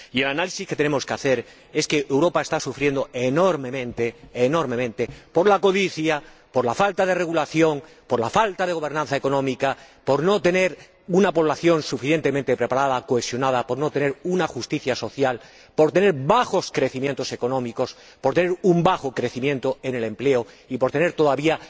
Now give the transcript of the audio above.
Y el análisis que tenemos que hacer es que Europa está sufriendo enormemente por la codicia, por la falta de regulación, por la falta de gobernanza económica, por no tener una población suficientemente preparada, cohesionada, por no tener una justicia social, por tener bajos crecimientos económicos, por tener un bajo crecimiento en el empleo y por tener todavía